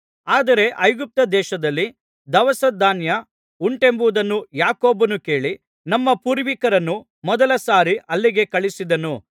ಆದರೆ ಐಗುಪ್ತದೇಶದಲ್ಲಿ ದವಸಧಾನ್ಯ ಉಂಟೆಂಬುದನ್ನು ಯಾಕೋಬನು ಕೇಳಿ ನಮ್ಮ ಪೂರ್ವಿಕರನ್ನು ಮೊದಲ ಸಾರಿ ಅಲ್ಲಿಗೆ ಕಳುಹಿಸಿದನು